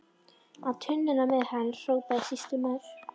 Á tunnuna með hann, hrópaði sýslumaður.